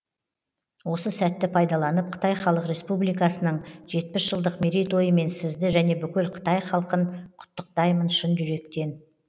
осы сәтті пайдаланып қытай халық республикасының жетпіс жылдық мерейтойымен сізді және бүкіл қытай халқын құттықтаймын шын жүректен